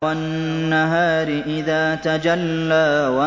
وَالنَّهَارِ إِذَا تَجَلَّىٰ